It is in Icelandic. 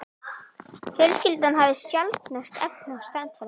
Fjölskyldan hafði sjaldnast efni á strandferðum.